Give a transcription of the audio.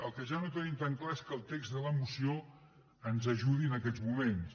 el que ja no tenim tan clar és que el text de la moció ens ajudi en aquests moments